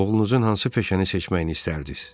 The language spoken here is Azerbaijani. Oğlunuzun hansı peşəni seçməyini istərdiz?